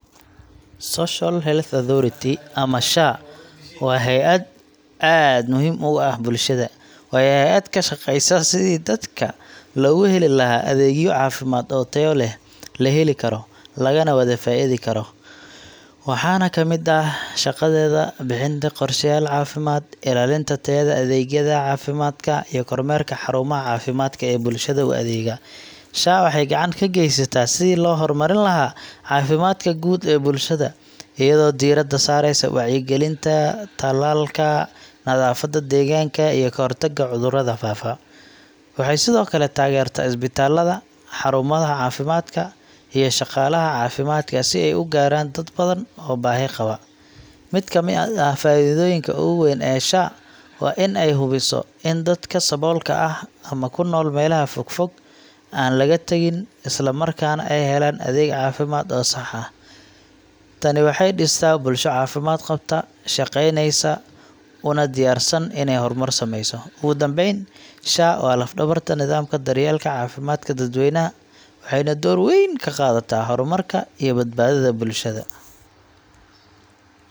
Social Health Authority, ama SHA, waa hay’ad aad muhiim ugu ah bulshada. Waa hay’ad ka shaqeysa sidii dadka loogu heli lahaa adeegyo caafimaad oo tayo leh, la heli karo, lagana wada faa’iidi karo. Waxaa ka mid ah shaqadeeda bixinta qorsheyaal caafimaad, ilaalinta tayada adeegyada caafimaadka, iyo kormeerka xarumaha caafimaadka ee bulshada u adeega. SHA waxay gacan ka geysataa sidii loo horumarin lahaa caafimaadka guud ee bulshada, iyadoo diiradda saaraysa wacyigelinta, tallaalka, nadaafadda deegaanka, iyo ka hortagga cudurrada faafa. Waxay sidoo kale taageertaa isbitaallada, xarumaha caafimaadka, iyo shaqaalaha caafimaadka si ay u gaaraan dad badan oo baahi qaba. Mid ka mid ah faa’iidooyinka ugu weyn ee SHA waa in ay hubiso in dadka saboolka ah ama ku nool meelaha fog-fog aan laga tagin, islamarkaana ay helaan adeeg caafimaad oo sax ah. Tani waxay dhistaa bulsho caafimaad qabta, shaqeyneysa, una diyaarsan inay horumar sameyso. Ugu dambeyn, SHA waa laf-dhabarta nidaamka daryeelka caafimaadka dadweynaha, waxayna door weyn ka qaadataa horumarka iyo badbaadada bulshada.